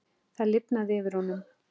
Það lifnaði yfir honum.